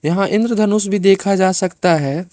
यहां इंद्र धनुष भी देखा जा सकता है।